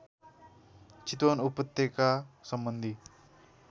चितवन उपत्यका सम्बन्धी